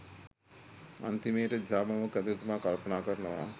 අන්තිමේට දිසාපාමොක් ඇදුරුතුමා කල්පනා කරනවා